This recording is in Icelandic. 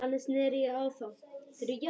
Þannig sneri ég á þá.